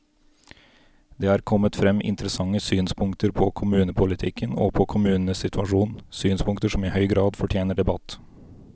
Det er kommet frem interessante synspunkter på kommunepolitikken og på kommunenes situasjon, synspunkter som i høy grad fortjener debatt.